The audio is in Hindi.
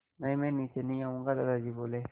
नहीं मैं नीचे नहीं आऊँगा दादाजी बोले